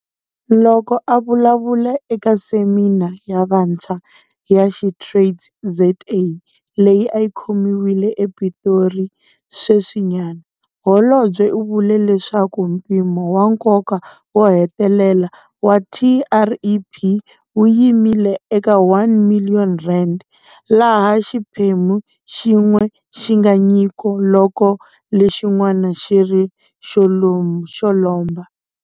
Loko a vulavula eka Semina ya Vantshwa ya SheTradesZA leyi a yi khomiwile ePitori sweswinyana, holobye u vule leswaku mpimo wa nkoka wo hetelela wa TREP wu yimile eka R1 miliyoni, laha xiphemu xin'we xi nga nyiko loko lexin'wana xi ri xo lomba.